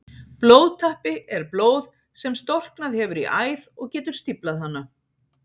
Blóðtappi er blóð sem storknað hefur í æð og getur stíflað hana.